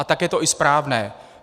A tak je to i správné.